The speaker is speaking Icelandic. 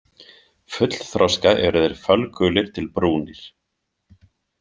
Fullþroska eru þeir fölgulir til brúnir.